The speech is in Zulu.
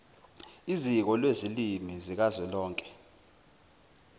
iziko lezilimi zikazwelonke